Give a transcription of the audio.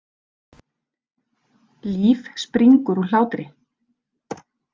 Líf springur úr hlátri.